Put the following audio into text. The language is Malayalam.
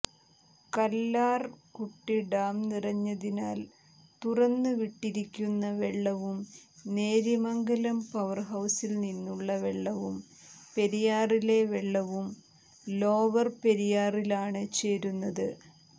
കല്ലാർകുട്ടി ഡാം നിറഞ്ഞതിനാൽ തുറന്നുവിട്ടിരിക്കുന്ന വെള്ളവും നേര്യമംഗലം പവർഹൌസിൽനിന്നുള്ള വെള്ളവും പെരിയാറിലെ വെള്ളവും ലോവർ പെരിയാറിലാണ് ചേരുന്നത്